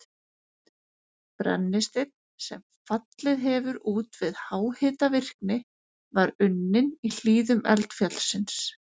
Brennisteinn, sem fallið hefur út við háhitavirkni, var unninn í hlíðum eldfjallsins